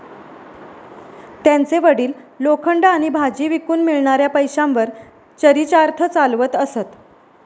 त्यांचे वडील लोखंड आणि भाजी विकून मिळणाऱ्या पैशांवर चरीचार्थ चालवत असत.